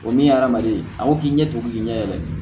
O min ye adamaden a ko k'i ɲɛ tugu k'i ɲɛ yɛlɛ